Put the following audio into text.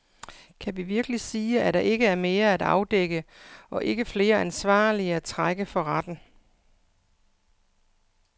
Kan vi virkelig sige, at der ikke er mere at afdække og ikke flere ansvarlige at trække for retten.